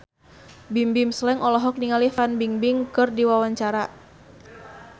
Bimbim Slank olohok ningali Fan Bingbing keur diwawancara